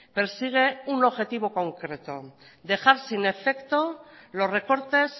persigue un objetivo concreto dejar sin efecto los recortes